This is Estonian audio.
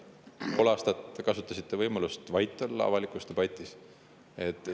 Pool aastat te kasutasite võimalust avalikus debatis vait olla.